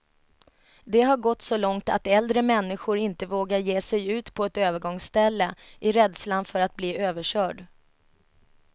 Det har gått så långt att äldre människor inte vågar ge sig ut på ett övergångsställe, i rädslan för att bli överkörd.